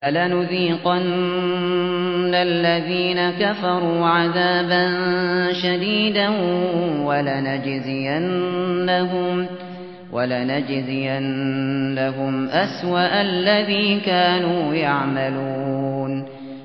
فَلَنُذِيقَنَّ الَّذِينَ كَفَرُوا عَذَابًا شَدِيدًا وَلَنَجْزِيَنَّهُمْ أَسْوَأَ الَّذِي كَانُوا يَعْمَلُونَ